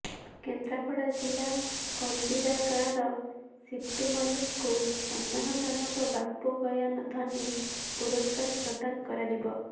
କେନ୍ଦ୍ରାପଡ଼ା ଜିଲ୍ଲା କନ୍ଦିରା ଗାଁର ଶୀତୁ ମଲ୍ଲିକଙ୍କୁ ସମ୍ମାନଜନକ ବାପୁ ଗୟାଧନୀ ପୁରସ୍କାର ପ୍ରଦାନ କରାଯିବ